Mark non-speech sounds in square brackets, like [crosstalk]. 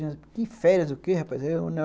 Que férias o quê, rapaz? [unintelligible]